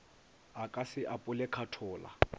a ka se apole khathola